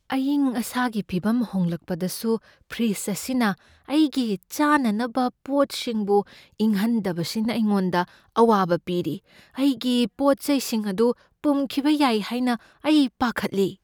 ꯑꯏꯪ ꯑꯁꯥꯒꯤ ꯐꯤꯚꯝ ꯍꯣꯡꯗꯣꯛꯂꯕꯁꯨ ꯐ꯭ꯔꯤꯗꯖ ꯑꯁꯤꯅ ꯑꯩꯒꯤ ꯆꯥꯅꯅꯕ ꯄꯣꯠꯁꯤꯡꯕꯨ ꯏꯪꯍꯟꯗꯕꯁꯤꯅ ꯑꯩꯉꯣꯟꯗ ꯑꯋꯥꯕ ꯄꯤꯔꯤ, ꯑꯩꯒꯤ ꯄꯣꯠ ꯆꯩꯁꯤꯡ ꯑꯗꯨ ꯄꯨꯝꯈꯤꯕ ꯌꯥꯏ ꯍꯥꯏꯅ ꯑꯩ ꯄꯥꯈꯠꯂꯤ꯫